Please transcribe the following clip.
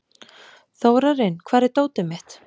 Þórarinn, hvar er dótið mitt?